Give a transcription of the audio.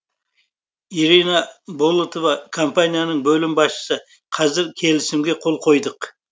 ирина болотова компанияның бөлім басшысы қазір келісімге қол қойдық